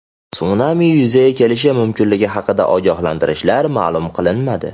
Sunami yuzaga kelishi mumkinligi haqida ogohlantirishlar ma’lum qilinmadi.